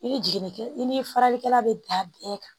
I ni jiginni kɛ i ni faralikɛla bɛ dan bɛɛ kan